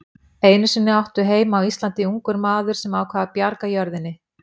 Einu sinni átti heima á Íslandi ungur maður sem ákvað að bjarga jörðinni.